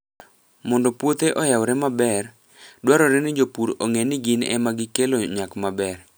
Mondo puothe oyawre maber, dwarore ni jopur ong'e ni gin ema gikelo nyak maber.